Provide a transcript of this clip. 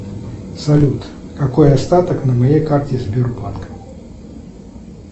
салют какой остаток на моей карте сбербанк